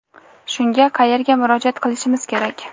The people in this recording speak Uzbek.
shunga qayerga murojaat qilishimiz kerak?.